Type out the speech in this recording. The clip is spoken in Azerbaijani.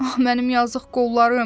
Ax, mənim yazıq qollarım!